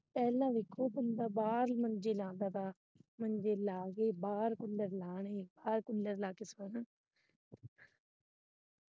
ਪਹਿਲਾ ਵੇਖੋ ਬੰਦਾ ਬਾਹਰ ਮੰਜੇ ਲਾਉਦਾ ਸੀ ਮੰਜੇ ਲਾ ਕੇ ਬਾਹਰ ਕੂਲਰ ਲਾਣੇ ਬਾਹਰ ਕੂਲਰ ਲਾ ਕੇ ਸੋਣਾ।